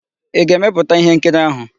Ị ga-emepụta íhénkiri áhụ̀?